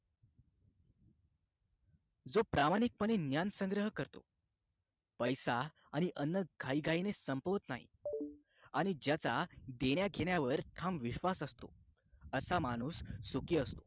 जो प्रामाणिकपणे ज्ञान संग्रह करतो पैसा आणि अन्न घाईघाईने संपत नाही आणि ज्याचा देण्याघेण्यावर ठाम विश्वास असतो असा माणूस सुखी असतो